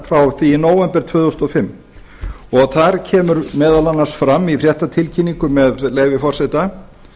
því í nóvember tvö þúsund og fimm þar kemur meðal annars fram í fréttatilkynningu með leyfi forseta